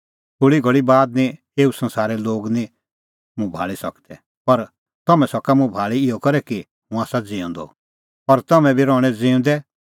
थोल़ी घल़ी बाद निं एऊ संसारे लोग निं मुंह भाल़ी सकदै पर तम्हैं सका मुंह भाल़ी इहअ करै कि हुंह आसा ज़िऊंदअ और तम्हैं बी रहणैं ज़िऊंदै